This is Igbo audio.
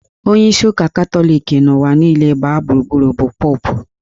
Onyeisi ụka Katọlik n'ụwa niile gbaa gburugburu bụ Popu